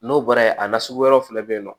N'o bɔra yen a nasugu wɛrɛw fana bɛ yen nɔ